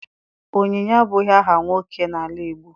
Onyinye abụghị aha nwoke n'ala Igbo.